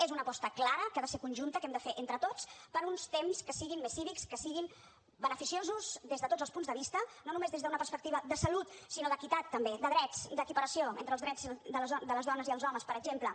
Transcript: és una aposta clara que ha de ser conjunta que hem de fer entre tots per uns temps que siguin més cívics que siguin beneficiosos des de tots els punts de vista no només des d’una perspectiva de salut sinó d’equitat també de drets d’equiparació entre els drets de les dones i els homes per exemple